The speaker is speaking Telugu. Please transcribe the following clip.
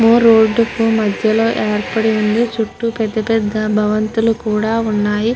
రోడ్ మధ్య లో అర్పాటు ఉనది. చుట్టూ పేద పేద భావతులు ఉనది రాధిగా కూడా అనిపెస్తునది.